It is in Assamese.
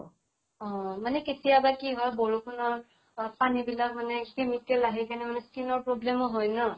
অ । মানে কেতিয়াবা কি হয়, বৰষুণৰ পানী বিলাক মানে chemical আহি কেনে মানে skin ৰ problem ও হয় ন ?